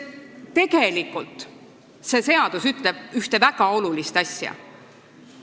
Tegelikult ütleb see seadus ühte väga olulist asja.